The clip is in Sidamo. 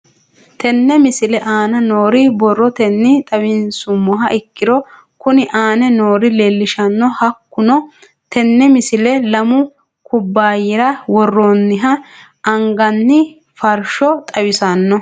Tenne misile aana noore borrotenni xawisummoha ikirro kunni aane noore leelishano. Hakunno tinni misile lamu kubaayirra worooniha anganni farsho xawissanno.